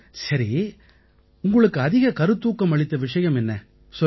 சரி உங்களுக்கு அதிக கருத்தூக்கம் அளித்த விஷயம் என்ன சொல்லுங்கள்